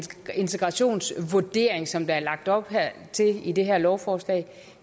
integrationsvurdering som der er lagt op til i det her lovforslag